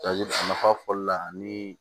nafa fɔli la ani